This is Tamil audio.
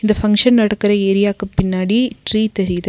இந்த பங்க்ஷன் நடக்குற ஏரியாக்கு பின்னாடி ட்ரீ தெரிது.